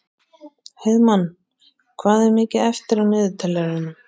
Heiðmann, hvað er mikið eftir af niðurteljaranum?